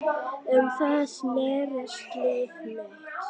Um það snerist líf mitt.